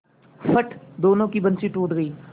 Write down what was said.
फट दोनों की बंसीे टूट गयीं